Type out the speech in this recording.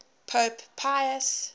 pope pius